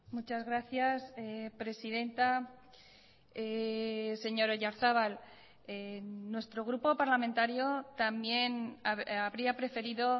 muchas gracias presidenta señor oyarzabal nuestro grupo parlamentario también habría preferido